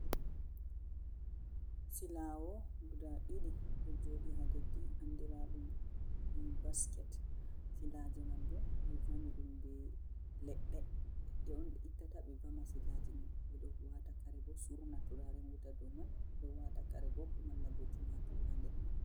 Silaawo guda ɗiɗi ɗo jooɗi ha leddi andiraɗum be basket, silaaje man bo ɓe vami ɗum be leɗɗe, leɗɗe on ɓe ittata ɓe vama siilaaje man ɓe ɗo waata kare, ɓe surna turaren wuta dou man, ɓe ɗo wata kare bo malla bo tomatur ha nder man.